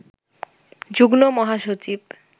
যুগ্ম মহাসচিব